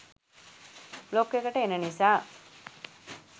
blog එකට එන නිසා